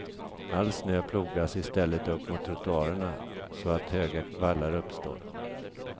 All snö plogas i stället upp mot trottoarerna så att höga vallar uppstår.